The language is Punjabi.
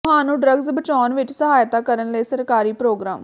ਤੁਹਾਨੂੰ ਡ੍ਰੱਗਜ਼ ਬਚਾਉਣ ਵਿੱਚ ਸਹਾਇਤਾ ਕਰਨ ਲਈ ਸਰਕਾਰੀ ਪ੍ਰੋਗਰਾਮ